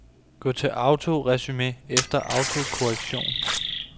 Gå til autoresumé efter autokorrektion.